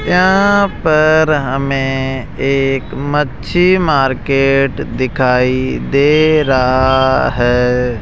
यहां पर हमें एक मच्छी मार्केट दिखाई दे रहा है।